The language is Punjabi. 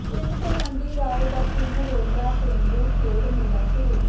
ਪਿੰਡ ਤਲਵੰਡੀ ਰਾਏ ਦਾ ਤਿੰਨ ਰੋਜ਼ਾ ਪੇਂਡੂ ਖੇਡ ਮੇਲਾ ਸ਼ੁਰੂ